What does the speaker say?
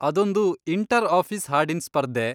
ಅದೊಂದು inter office ಹಾಡಿನ್ ಸ್ಪರ್ಧೆ.